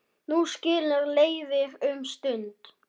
Nú skilur leiðir um stund.